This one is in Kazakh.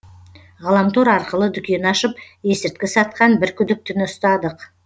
ғаламтор арқылы дүкен ашып есірткі сатқан бір күдіктіні ұстадық